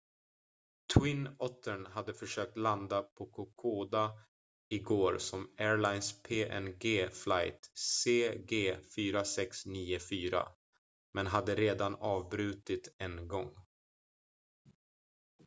twin ottern hade försökt landa på kokoda igår som airlines png flight cg 4694 men hade redan avbrutit en gång